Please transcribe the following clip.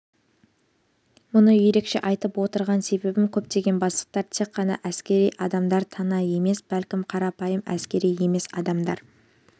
мұны ерекше айтып отырған себебім көптеген бастықтар тек қана әскери адамдар тана емес бәлкім қарапайым әскери емес адамдар